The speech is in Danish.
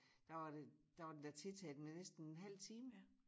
Der var det der var det da tiltaget med næsten en halv time